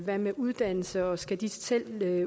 hvad med uddannelse skal de selv